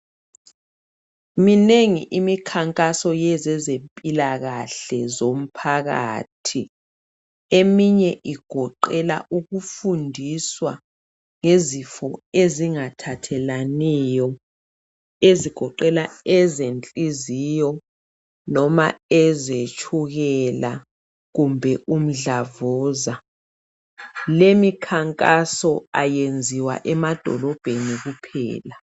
Minengi imikhankaso yezezempilakahle zomphakathi. Eminye igoqelwa ukufundiswa ngezifo ezingathathelaniyo ezigoqela ezenhliziyo noma ezetshukela kumbe umdlavuza. Leyimikhankaso ayenziwa emadolobheni kuphela.